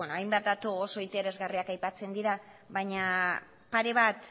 hainbat datu oso interesgarriak aipatzen dira baina pare bat